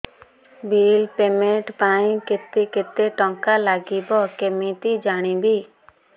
bill payment ପାଇଁ କେତେ କେତେ ଟଙ୍କା ଲାଗିବ କେମିତି ଜାଣିବି